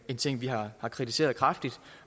en ting vi har kritiseret kraftigt